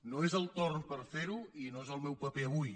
no és el torn per fer·ho i no és el meu paper avui